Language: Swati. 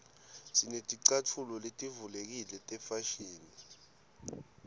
sineticatfulo letivulekile tefashini